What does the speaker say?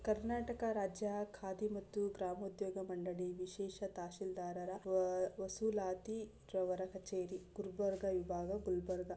ಕರ್ನಾಟಕ ರಾಜ್ಯ ಖಾದಿ ಮತ್ತು ಗ್ರಾಮದ್ಯೋಗ ಮಂಡಲಿ ವಿಶೇಷ ತಹಶೀಲ್ದಾರ್ ವಸುಲಾತಿ ನಗರ ಕಚೇರಿ ಗುಲ್ಬರ್ಗಾ ವಿಭಾಗ ಗುಲ್ಬರ್ಗಾ.